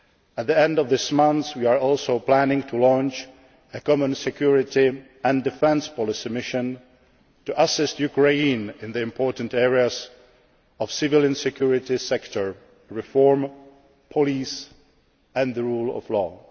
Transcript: At the end of this month, we are also planning to launch a common security and defence policy mission to assist Ukraine in the important areas of civilian security sector reform, police and the rule